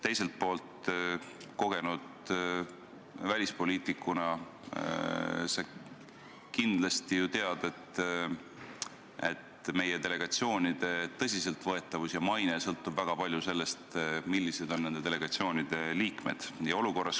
Teiselt poolt sa kogenud välispoliitikuna kindlasti ju tead, et meie delegatsioonide tõsiseltvõetavus ja maine sõltub väga palju sellest, millised on nende delegatsioonide liikmed.